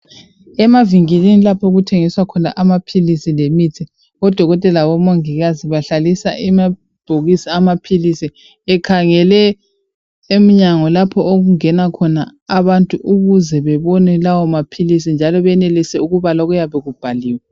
Emavinkilini lapho okuthengiswa khona amapilisi lemithi, odokotela labomongikazi bahlalisa amabhokisi amapilisi ekhangele emnyango lapho okungena khona abantu ukuze bebone lawo mapilisi njalo benelise ukubala okuyabe kubhaliwe.